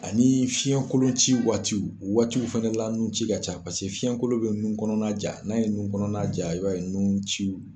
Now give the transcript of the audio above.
Ani fiyɛn kolon ci waatiw o waatiw fana la nunci ka ca paseke fiyɛn kolon bɛ nun kɔnɔna ja n'a ye nun kɔnɔna ja i b'a ye nunciw